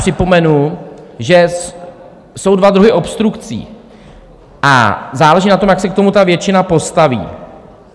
Připomenu, že jsou dva druhy obstrukcí, a záleží na tom, jak se k tomu ta většina postaví.